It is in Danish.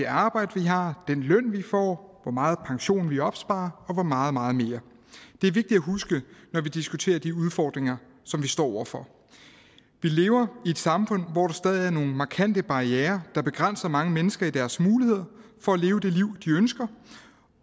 arbejde vi har hvilken løn vi får hvor meget pension vi opsparer og meget meget mere det er vigtigt at huske når vi diskuterer de udfordringer som vi står over for vi lever i et samfund hvor der stadig er nogle markante barrierer der begrænser mange mennesker i deres muligheder for at leve det liv de ønsker